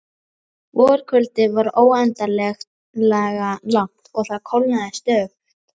Vorkvöldið var óendanlega langt og það kólnaði stöðugt.